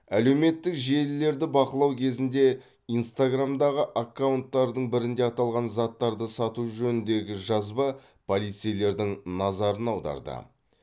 әлеуметтік желілерді бақылау кезінде инстаграмдағы аккаунттардың бірінде аталған заттарды сату жөніндегі жазба полицейлердің назарын аударды